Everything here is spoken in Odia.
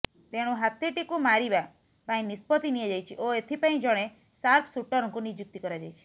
ତେଣୁ ହାତୀଟିକୁ ମାରିବା ପାଇଁ ନିଷ୍ପତ୍ତି ନିଆଯାଇଛି ଓ ଏଥିପାଇଁ ଜଣେ ସାର୍ପସୁଟରଙ୍କୁ ନିଯୁକ୍ତ କରାଯାଇଛି